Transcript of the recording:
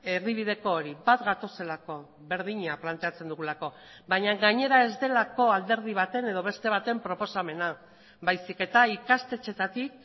erdibideko hori bat gatozelako berdina planteatzen dugulako baina gainera ez delako alderdi baten edo beste baten proposamena baizik eta ikastetxeetatik